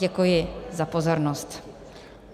Děkuji za pozornost.